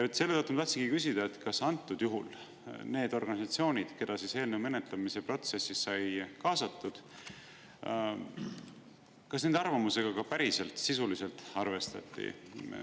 Ja selle tõttu ma tahtsingi küsida, kas antud juhul need organisatsioonid, keda eelnõu menetlemise protsessi sai kaasatud, kas nende arvamusega ka päriselt, sisuliselt arvestati.